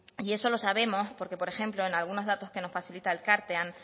y eso lo sabemos porque por ejemplo en algunos datos que nos facilita elkartean